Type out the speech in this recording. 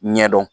Ɲɛdɔn